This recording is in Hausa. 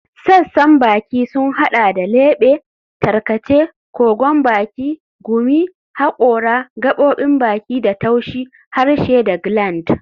Sassan bakin sun hada da lebe, tarkace, kogon baki, gumi, hakora, gaɓoɓin baki da taushi, harshe da gland.